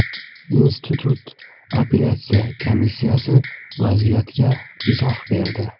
Institut apellyatsiya komissiyasi vaziyatga izoh berdi.